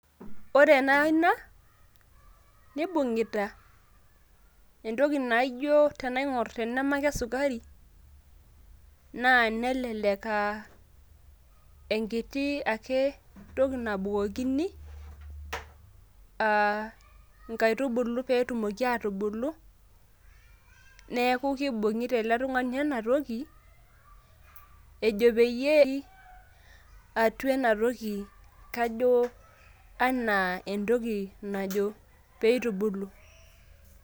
ore ena ina nibung'ita sukari naa nelelek aa enkiti ake toki nabukokini inkaitubulu, pee etumoki atubulu neeku kibung'ita ele tung'ani ena toki peyie epik atua enatoki pee itubulu.